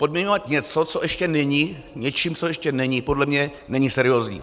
Podmiňovat něco, co ještě není, něčím, co ještě není, podle mě není seriózní.